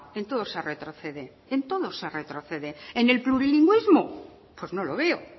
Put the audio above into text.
en todo se retrocede en todo se retrocede en el plurilingüismo pues no lo veo